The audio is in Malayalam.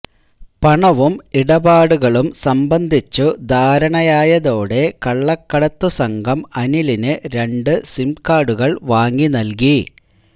പണവും ഇടപാടുകളും സംബന്ധിച്ചു ധാരണയായതോടെ കള്ളക്കടത്തു സംഘം അനിലിനു രണ്ടു സിംകാര്ഡുകള് വാങ്ങി നല്കി